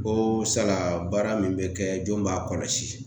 Ko sala baara min be kɛ jɔni b'a kɔlɔsi